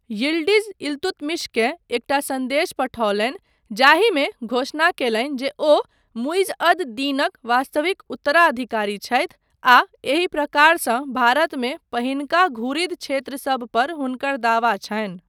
Yildiz इल्तुतमिशकेँ एकटा सन्देश पठौलनि जाहिमे घोषणा कयलनि जे ओ मुइज़ अद दीनक वास्तविक उत्तराधिकारी छथि आ एहि प्रकारसँ भारतमे पहिनका घुरिद क्षेत्रसब पर हुनकर दावा छनि।